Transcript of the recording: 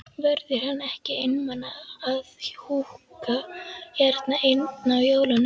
Verður hann ekki einmana að húka hérna einn á jólunum?